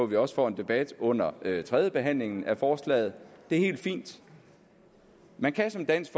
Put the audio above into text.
vi også får en debat under tredjebehandlingen af forslaget det er helt fint man kan som dansk